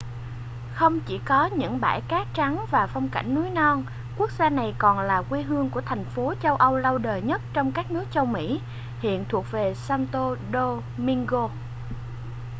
không chỉ có những bãi cát trắng và phong cảnh núi non quốc gia này còn là quê hương của thành phố châu âu lâu đời nhất trong các nước châu mỹ hiện thuộc về santo domingo